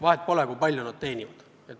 Vahet pole, kui palju nad teenivad.